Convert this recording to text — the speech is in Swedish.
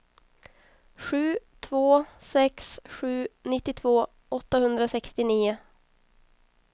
sju två sex sju nittiotvå åttahundrasextionio